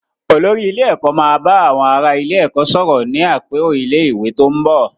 Olórí ilé ẹ̀kọ́ máa ba àwọn ará ilé-ẹ̀kọ́ sọ̀rọ̀ ní àpérò ilé-ìwé tó ń bò.